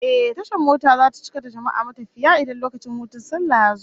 Ehh, tashar mota zata cika da jama'a matafiya idan lokacin hutun sallah yazo